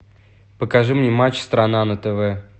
покажи мне матч страна на тв